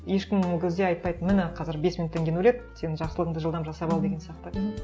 ешкім ол кезде айтпайды міне қазір бес минуттан кейін өледі сен жақсылығыңды жылдам жасап ал деген сияқты